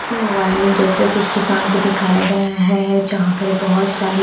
mobile जैसे कुछ दुकान को दिखाया गया है जहाँ पर ये बहुत सारे--